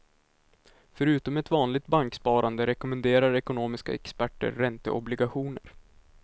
Förutom ett vanligt banksparande rekommenderar ekonomiska experter ränteobligationer.